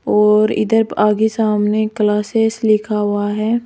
और इधर आगे सामने क्लासेज लिखा हुआ है।